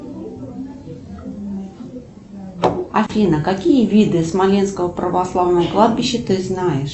афина какие виды смоленского православного кладбища ты знаешь